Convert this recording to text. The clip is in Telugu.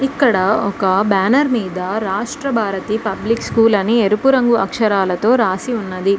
ఇక్కడ ఒక బ్యానర్ మీద రాష్ట్ర భారతి పబ్లిక్ స్కూల్ అని ఎరుపు రంగు అక్షరాలతో రాసి ఉన్నది.